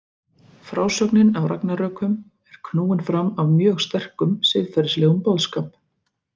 Frásögnin af ragnarökum er knúin áfram af mjög sterkum siðferðislegum boðskap.